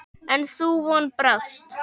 En sú von brást.